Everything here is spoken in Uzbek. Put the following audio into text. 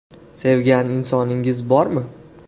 Sevgan insoningiz bormi?